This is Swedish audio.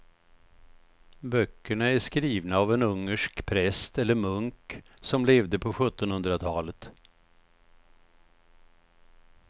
Böckerna är skrivna av en ungersk präst eller munk som levde på sjuttonhundratalet.